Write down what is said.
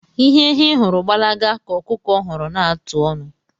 Ihe ehi hụrụ gbalaga ka ọkụkọ hụrụ na-atụ onu.